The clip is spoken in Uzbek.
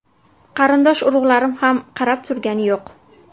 Qarindosh urug‘larim ham qarab turgani yo‘q.